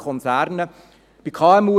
Dies stelle ich immer wieder fest.